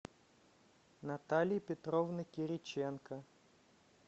натальи петровны кириченко